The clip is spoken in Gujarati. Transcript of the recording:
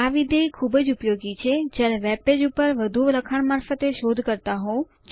આ વિધેય ખૂબ જ ઉપયોગી છે જ્યારે વેબપેજ પર વધુ લખાણ મારફતે શોધ કરતા હોઉં